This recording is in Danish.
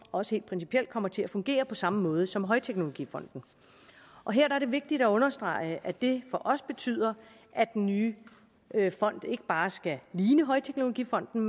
også helt principielt kommer til at fungere på samme måde som højteknologifonden og her er det vigtigt at understrege at det for os betyder at den nye fond ikke bare skal ligne højteknologifonden